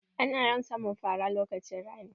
Ana yawan samun fara lokacin rani.